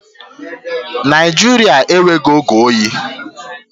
Naijiria enweghị oge oyi